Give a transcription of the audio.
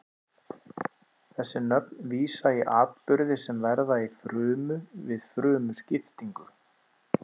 Þessi nöfn vísa í atburði sem verða í frumu við frumuskiptingu.